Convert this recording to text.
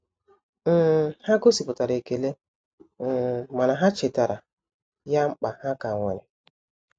um Ha gosipụtara ekele um mana ha chetara ya mkpa ha ka nwere.